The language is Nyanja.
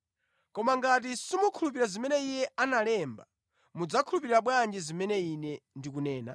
Koma ngati simukhulupirira zimene iye analemba, mudzakhulupirira bwanji zimene Ine ndikunena?”